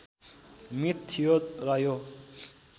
myth थियो र यो